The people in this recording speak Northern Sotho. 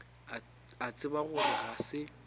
a tseba gore ga se